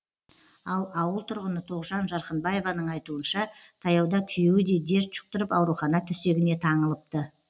ал ауыл тұрғыны тоғжан жарқынбаеваның айтуынша таяуда күйеуі де дерт жұқтырып аурухана төсегіне таңылыпты